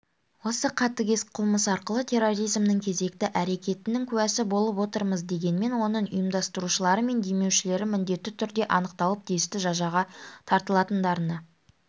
осы қатыгез қылмыс арқылы терроризмнің кезекті әрекетінің куәсі болып отырмыз дегенмен оның ұйымдастырушылары мен демеушілері міндетті түрде анықталып тиісті жазаға тартылатындарына